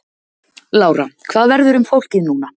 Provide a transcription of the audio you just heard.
Lára: Hvað verður um fólkið núna?